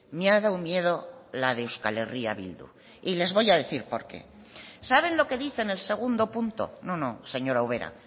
me ha dado miedo la de euskal herria bildu y les voy a decir por qué saben lo que dice en el segundo punto no no señora ubera